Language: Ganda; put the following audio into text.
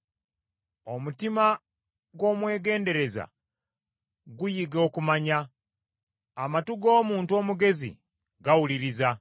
Omutima gw’omwegendereza guyiga okumanya, amatu g’omuntu omugezi gawuliriza.